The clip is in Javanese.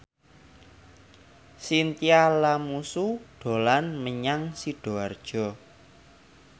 Chintya Lamusu dolan menyang Sidoarjo